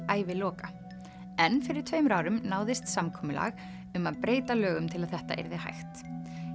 æviloka en fyrir tveimur árum náðist samkomulag um að breyta lögum til að þetta yrði hægt